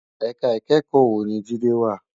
Èká ikèékò wó ni Jide wá?